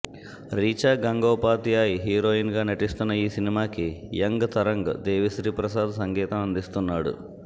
Richa Gangopadhyay heroine గా నటిస్తున్న ఈ సినిమాకి యంగ్ తరంగ్ దేవీ శ్రీ ప్రసాద్ సంగీతం అందిస్తున్నాడు